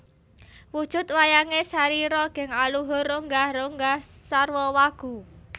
Wujud wayange sarira geng aluhur ronggah ronggah sarwa wagu